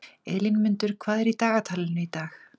Elínmundur, hvað er í dagatalinu í dag?